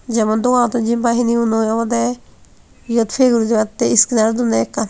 jemon doganottun jempai hini hunoi obodey iyot pei guri battey iskinar dunney ekkan.